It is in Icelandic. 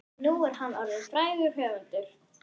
Nú er hann orðinn frægur höfundur.